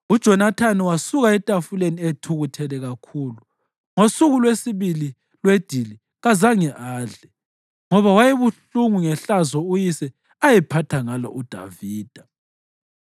UJonathani wasuka etafuleni ethukuthele kakhulu; ngosuku lwesibili lwedili kazange adle, ngoba wayebuhlungu ngehlazo uyise ayephatha ngalo uDavida.